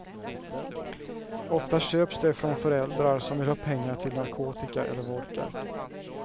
Ofta köps de från föräldrar som vill ha pengar till narkotika eller vodka.